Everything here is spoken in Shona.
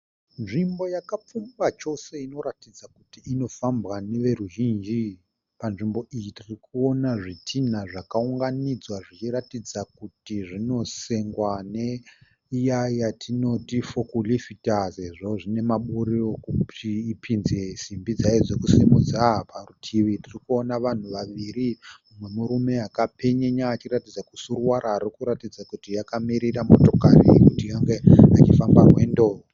Nzvimbo yakapfumba chose inoratidza kuti inofambwa neveruzhinji. Panzvimbo iyi tirikuona zvidhina zvakaunganidzwa zvichiratidza kuti zvinosengwa neiya yatinoti fokurifita sezvo zvine maburi okuti ipinze simbi dzayo dzekusimudza. Parutivi tirikuona vanhu vaviri, mumwe murume akapenyenya achiratidza kusuruvara, arikuratidza kuti akamirira motokari yekuti ange achifamba rwendo.